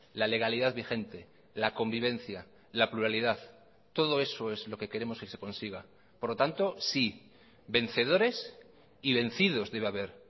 la legalidad vigente la convivencia la pluralidad todo eso es lo que queremos que se consiga por lo tanto sí vencedores y vencidos debe haber